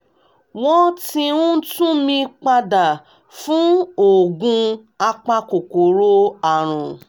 wọ́n ti ń tún mi padà fún oògùn apakòkòrò àrùn